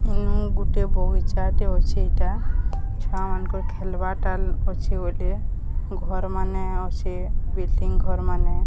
ଗୁଟେ ବଗିଚାଟେ ଅଛି ଏଟା ଛୁଆମାନଙ୍କ ଖେଲବାଟା ଅଛି ବୋଲେ ଘରମାନେ ଅଛି ବିଲଡିଂ ଘରମାନେ।